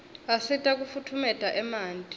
asita kufutfumietia emanti